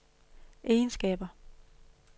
egenskaber